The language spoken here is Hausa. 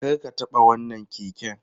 Kar ka taɓa wannan keken!